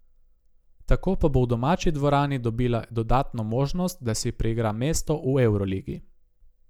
Tako pa bo v domači dvorani dobila dodatno možnost, da si priigra mesto v evroligi.